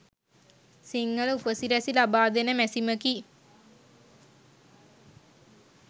සිංහල උපසිරැසි ලබාදෙන මැසිමකි.